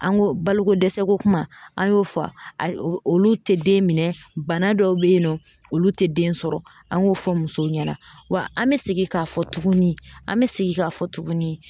An ko baloko dɛsɛ ko kuma an y'o fɔ wa ayi o olu te den minɛ bana dɔw be ye nɔ olu te den sɔrɔ an k'o fɔ musow ɲɛna wa an mɛ segin k'a fɔ tuguni an mɛ segin k'a fɔ tuguni.